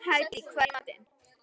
Hædý, hvað er í matinn?